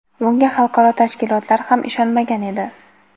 Bunga xalqaro tashkilotlar ham ishonmagan edi.